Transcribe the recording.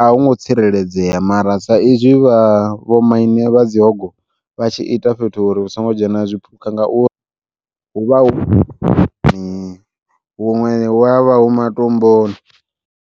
a hu ngo tsireledzea, mara sa izwi vha vho maine vha dzi hogo vha tshi ita fhethu uri hu songo dzhena zwipuka ngauri hu vha huṅwe hu avha hu matomboni.